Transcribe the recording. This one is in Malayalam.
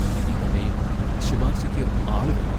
ഉണ്ടെങ്കിൽത്തന്നെയും ശുപാർശയ്ക്ക് ആളു വേണം.